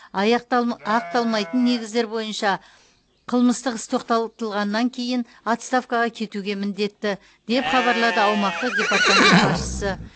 аяқ ақталмайтын негіздер бойынша қылмыстық іс тоқтатылғаннан кейін отставкаға кетуге міндетті деп хабарлады аумақтық департамент басшысы